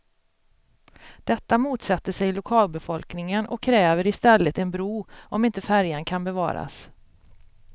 Detta motsätter sig lokalbefolkningen och kräver istället en bro, om inte färjan kan bevaras.